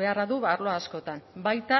beharra du arlo askotan baita